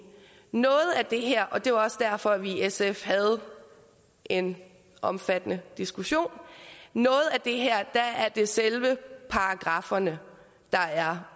noget af det her og det er også derfor vi i sf havde en omfattende diskussion er det selve paragrafferne der er